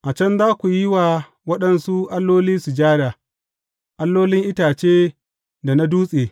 A can za ku yi wa waɗansu alloli sujada, allolin itace da na dutse.